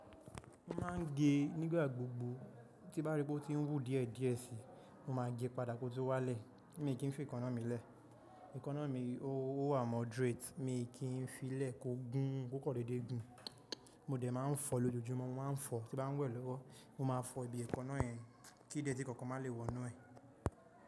Mo máa ń gé nígbà gbogbo. Tí bá rí pé ó ti ń wú díẹ̀ díẹ̀ síi, mo máa gé padà kó tó wálẹ̀. Mi kì n fi èékánná mi lẹ̀. Èékánná mi, ó wà moderate. Mi kì í fi lẹ̀ kó gún kò kan dédé gùn. Mo dẹ̀ máa ń fọ lójoojúmọ́, mo máa ń fọ. Tí bá n wẹ̀ lọ́wọ́, mo máa fọ ibi èékánná ẹ. Kí déètì kankan má lè wọnú ẹ̀.